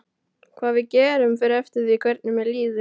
Hvað við gerum fer eftir því hvernig mér líður.